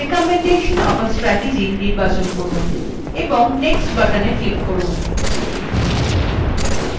recommendation of a strategy নির্বাচন করুন এবং next button click করুন